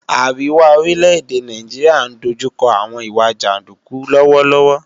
Àríwá orílẹ̀-èdè Nàìjíríà ń dojú kọ àwọn ìwà jàndúkú lọ́wọ́lọ́wọ́